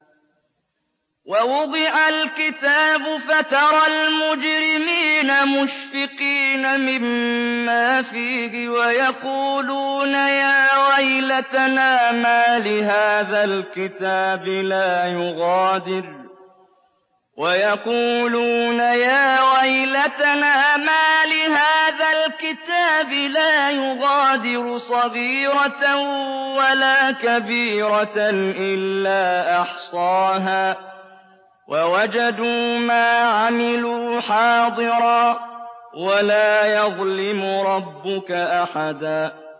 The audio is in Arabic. وَوُضِعَ الْكِتَابُ فَتَرَى الْمُجْرِمِينَ مُشْفِقِينَ مِمَّا فِيهِ وَيَقُولُونَ يَا وَيْلَتَنَا مَالِ هَٰذَا الْكِتَابِ لَا يُغَادِرُ صَغِيرَةً وَلَا كَبِيرَةً إِلَّا أَحْصَاهَا ۚ وَوَجَدُوا مَا عَمِلُوا حَاضِرًا ۗ وَلَا يَظْلِمُ رَبُّكَ أَحَدًا